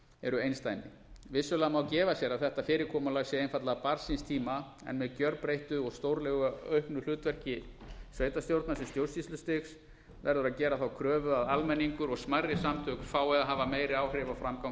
eru einsdæmi vissulega má gefa sér að þetta fyrirkomulag sé einfaldlega barn síns tíma en með gjörbreyttu og stórlega auknu hlutverki sveitarstjórna sem stjórnsýslustigs verður að gera þá kröfu að almenningur og smærri samtök fái að hafa meiri áhrif á framgang